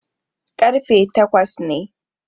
ƙarfe takes ne